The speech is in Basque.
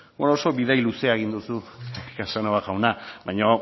bueno oso bidai luzea egin duzu casanova jauna baina